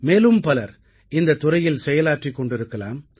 மேலும் பலர் இந்தத் துறையில் செயலாற்றிக் கொண்டிருக்கலாம்